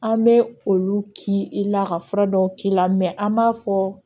An bɛ olu k'i la ka fura dɔw k'i la an b'a fɔ